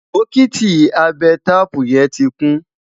bokiti Abe taapu yen tí kún